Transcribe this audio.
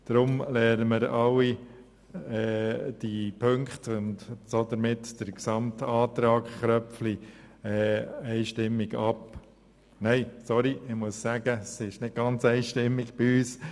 Deshalb lehnen wir den gesamten Antrag Köpfli nicht ganz einstimmig, aber mehrheitlich ab.